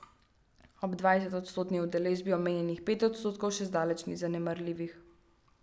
Ob dvajsetodstotni udeležbi omenjenih pet odstotkov še zdaleč ni zanemarljivih.